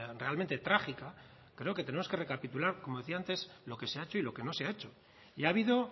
realmente trágica creo que tenemos que recapitular como decía antes lo que se ha hecho y lo que no se ha hecho y ha habido